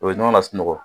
U bɛ ɲɔgɔn lasunɔgɔ